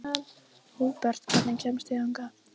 Húbert, hvernig kemst ég þangað?